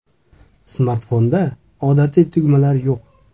Smartfonda odatiy tugmalar yo‘q.